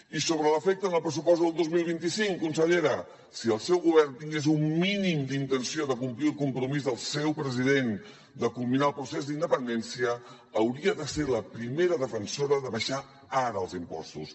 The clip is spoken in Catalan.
i sobre l’efecte en el pressupost del dos mil vint cinc consellera si el seu govern tingués un mínim d’intenció de complir el compromís del seu president de culminar el procés d’independència hauria de ser la primera defensora d’abaixar ara els impostos